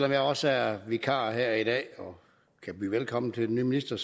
om jeg også er vikar her i dag og kan byde velkommen til den nye minister